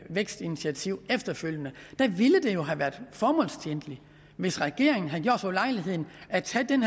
vækstinitiativ efterfølgende der ville det jo have været formålstjenligt hvis regeringen havde gjort sig den ulejlighed at tage den